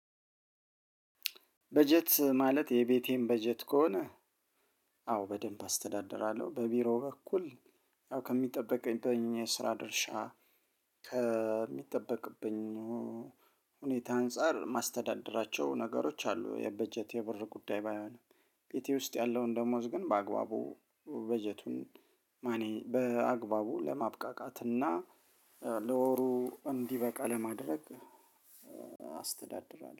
በጀት ማለት የቤቴን በጀት ከሆነ። አዎ በደንብ አስተዳድራለሁ በቢሮ በኩል ያው ከሚጠበቅብኝ የስራ ድርሻ ከሚጠበቅብኝ ሁኔታ አንፃር ማስተዳደራቸው ነገሮች አሉ። የበጀት የብር ጉዳይ ባይሆንም። ኢትዮ ውስጥ ያለውን ደሞዝ ግን በአግባቡ በጀቱን እኔ በአግባቡ ለማብቃቃት እና ለወሩ እንዲበቃ በማድረግ አስተዳድራለሁ